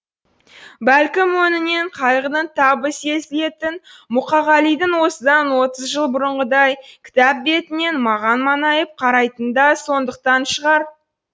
бәлкім өңінен қайғының табы сезілетін мұқағалидың осыдан отыз жыл бұрынғыдай кітап бетінен маған маңайып қарайтыны да сондықтан шығар